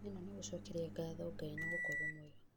ĩno nĩ gũcokeria ngatho Ngai nĩ gũkorwo mwega